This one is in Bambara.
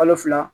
Kalo fila